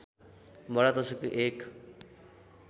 बडादशैँको एक